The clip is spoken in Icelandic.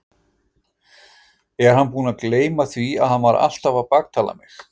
Er hann búinn að gleyma því að hann var alltaf að baktala mig?